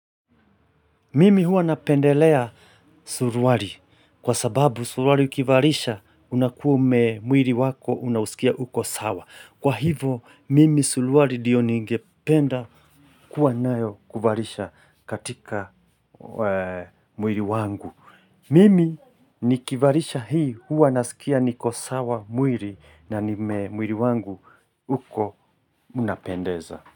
Mimi huwa napendelea suruali kwa sababu suruali ukivalisha unakuume mwili wako unahusikia uko sawa. Kwa hivo mimi suruali ndio ningependa kuwa nayo kivarisha katika mwiri wangu. Mimi nikivalisha hii huwa nasikia niko sawa mwili na mwili wangu uko unapendeza.